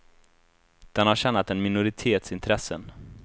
Den har tjänat en minoritets intressen.